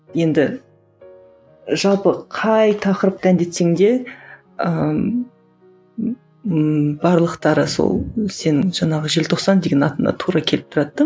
енді жалпы қай тақырыпты әндетсең де ыыы барлықтары сол сенің жаңағы желтоқсан деген атыңа тура келіп тұрады да